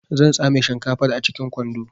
Zan tsame shinkafar a cikin kwando